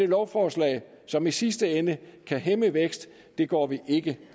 lovforslag som i sidste ende kan hæmme vækst går vi ikke